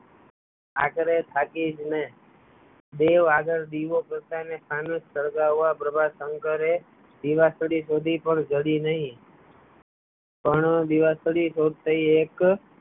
આખરે થાકી જ ને બો આગળ દીવો સળગાવવા પ્રભાશંકરે દીવાસળી શોધી પણ જળી નહી પણ દીવાસળી શોધતાં એક